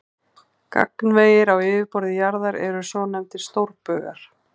Gagnvegir á yfirborði jarðar eru svonefndir stórbaugar.